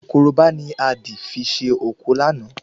Korobá ni a dì fi ṣe òkú láàná